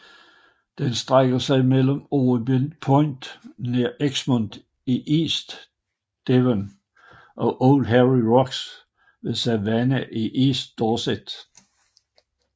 Den strækker sig mellem Orcombe Point nær Exmouth i East Devon og Old Harry Rocks ved Swanage i East Dorset